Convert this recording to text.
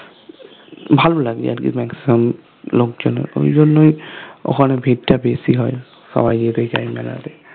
ভালো লাগে আরকি maximum লোক জন ঐজন্যৈ ওখানে ভিড় টা বেশি হয় সবাই যেতে চায় মেলাতে